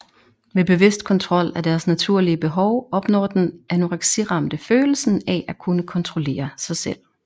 Ved bevidst kontrol af deres naturlige behov opnår den anoreksiramte følelsen af at kunne kontrollere sig selv